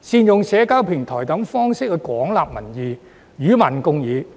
善用社交平台等方式廣納民意，與民共議。